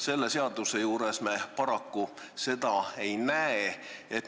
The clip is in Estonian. Selle seaduse juures me seda paraku ei näe.